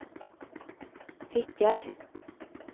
Fitjar